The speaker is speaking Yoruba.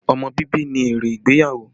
Ọmọ bíbí ni èrè ìgbéyàwó